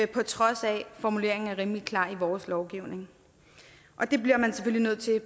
på trods af at formuleringen er rimelig klar i vores lovgivning det bliver man selvfølgelig nødt til at